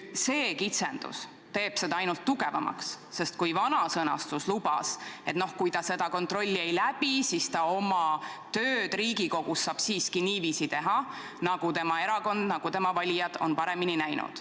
See kitsendus teeb seda ainult tugevamaks, sest kui vana sõnastus lubas, et kui ta seda kontrolli ei läbi, siis ta oma tööd Riigikogus saab siiski niiviisi teha, nagu tema erakond, nagu tema valijad on paremini näinud.